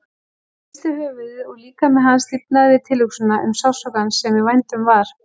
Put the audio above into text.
Hann hristi höfuðið og líkami hans stífnaði við tilhugsunina um sársaukann sem í vændum var.